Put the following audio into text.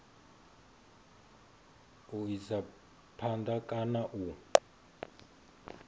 u isa phanda kana u